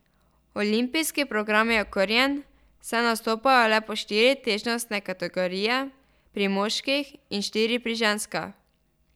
Olimpijski program je okrnjen, saj nastopajo le po štiri težnostne kategorije pri moških in štiri pri ženskah.